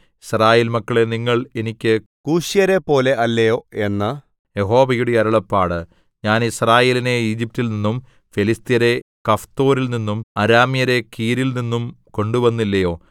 യിസ്രായേൽ മക്കളേ നിങ്ങൾ എനിക്ക് കൂശ്യരെപ്പോലെ അല്ലയോ എന്ന് യഹോവയുടെ അരുളപ്പാട് ഞാൻ യിസ്രായേലിനെ ഈജിപ്റ്റിൽനിന്നും ഫെലിസ്ത്യരെ കഫ്തോരിൽനിന്നും അരാമ്യരെ കീരിൽനിന്നും കൊണ്ടുവന്നില്ലയോ